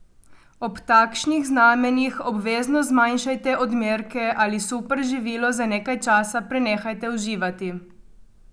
Ob takšnih znamenjih obvezno zmanjšajte odmerke ali superživilo za nekaj časa prenehajte uživati.